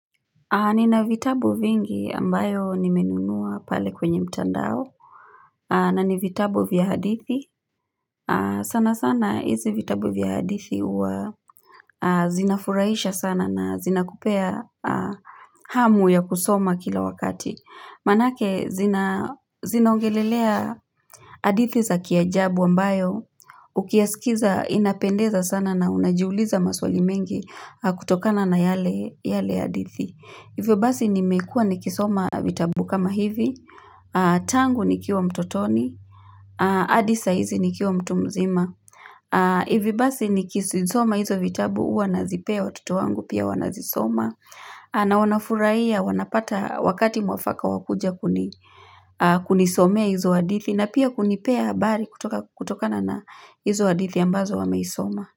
Nina vitabu vingi ambayo nimenunua pale kwenye mtandao na ni vitabu vya hadithi. Sana sana hizi vitabu vya hadithi huwa zinafuraisha sana na zinakupea hamu ya kusoma kila wakati. Manake zinaongelelea adithi za kiajabu ambayo, ukiyasikiza inapendeza sana na unajiuliza maswali mengi kutokana na yale adithi. Hivyo basi nimekua nikisoma vitabu kama hivi, tangu nikiwa mtotoni, adi saa hizi nikiwa mtu mzima. Hivi basi nikisisoma hizo vitabu hua nazipea watoto wangu pia wanazisoma. A na wanafuraia, wanapata wakati mwafaka wa kuja kunisomea hizo hadithi na pia kunipea habari kutokana na hizo hadithi ambazo wameisoma.